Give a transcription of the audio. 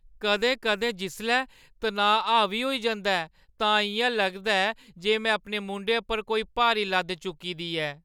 कदें-कदें, जिसलै तनाऽ हावी होई जंदा ऐ, तां इ'यां लगदा ऐ जे में अपने मूंढें उप्पर कोई बारी लद्द चुक्की दी ऐ।